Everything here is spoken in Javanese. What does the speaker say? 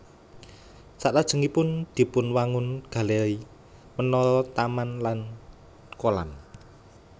Salajengipun dipunwangun galéri menara taman lan kolam